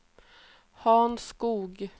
Hans Skog